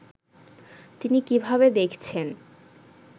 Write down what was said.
তিনি কীভাবে দেখছেন